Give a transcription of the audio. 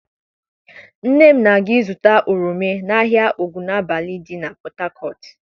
Nne m na-aga ịzụta oroma n'ahịa Ogunabali dị na Port Harcourt.